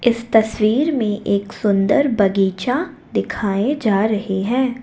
इस तस्वीर में एक सुंदर बगीचा दिखाए जा रहे हैं।